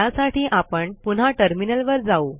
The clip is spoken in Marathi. त्यासाठी आपण पुन्हा टर्मिनलवर जाऊ